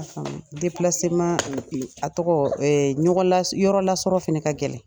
a tɔgɔ ɲɔgɔn la, yɔrɔ lasɔrɔ fana ka gɛlɛn.